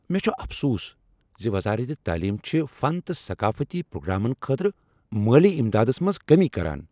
مےٚ چھ افسوس ز وزارت تعلیم چھ فن تہٕ ثقافتی پرٛوگرامن خٲطرٕ مٲلی امدادس منٛز کٔمی کران۔